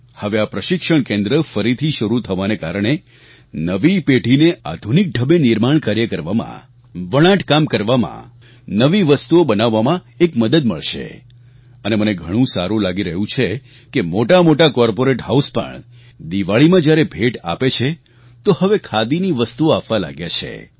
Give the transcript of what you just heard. હવે આ પ્રશિક્ષણ કેન્દ્ર ફરીથી શરૂ થવાને કારણે નવી પેઢીને આધુનિક ઢબે નિર્માણ કાર્ય કરવામાં વણાટ કામ કરવામાં નવી વસ્તુઓ બનાવવામાં એક મદદ મળશે અને મને ઘણું સારું લાગી રહ્યું છે કે મોટામોટા કોર્પોરેટ હાઉસ પણ દિવાળીમાં જ્યારે ભેટ આપે છે તો હવે ખાદીની વસ્તુઓ આપવા લાગ્યા છે